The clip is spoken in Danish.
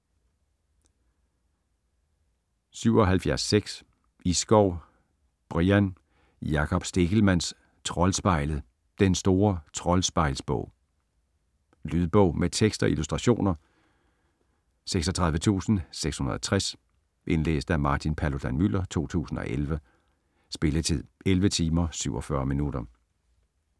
77.6 Iskov, Brian: Jakob Stegelmanns Troldspejlet: den store troldspejlsbog Lydbog med tekst og illustrationer 36660 Indlæst af Martin Paludan-Müller, 2011. Spilletid: 11 timer, 47 minutter.